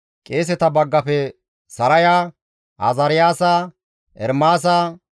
Qeeseta baggafe Saraya, Azaariyaasa, Ermaasa